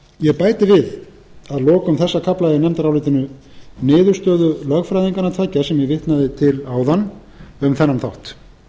ég bæti við að lokum þessa kafla í nefndarálitinu niðurstöðu lögfræðinganna tveggja sem ég vitnaði til áðan um þennan þátt